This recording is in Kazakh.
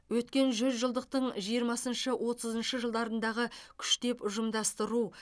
өткен жүзжылдықдың жиырмасыншы отызыншы жылдарындағы күштеп ұжымдастыру